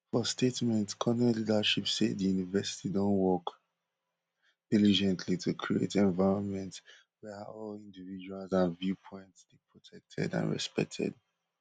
for statement cornell leadership say di university don work diligently to create environment wia all individuals and viewpoints dey protected and respected